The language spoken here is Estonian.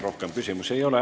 Rohkem küsimusi ei ole.